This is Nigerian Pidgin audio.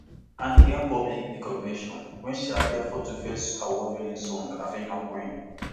annie gain public recognition wen she appear for tuface award winning song african queen